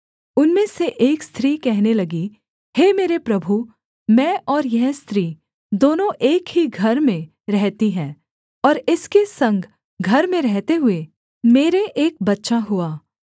उनमें से एक स्त्री कहने लगी हे मेरे प्रभु मैं और यह स्त्री दोनों एक ही घर में रहती हैं और इसके संग घर में रहते हुए मेरे एक बच्चा हुआ